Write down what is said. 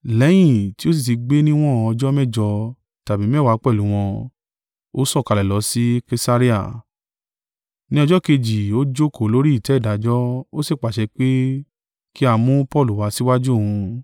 Lẹ́yìn tí ó sì ti gbé níwọ̀n ọjọ́ mẹ́jọ tàbí mẹ́wàá pẹ̀lú wọn, ó sọ̀kalẹ̀ lọ sì Kesarea, ni ọjọ́ kejì ó jókòó lórí ìtẹ́ ìdájọ́, ó sì pàṣẹ pé ki a mú Paulu wá síwájú òun.